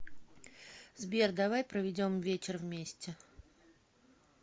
сбер давай проведем вечер вместе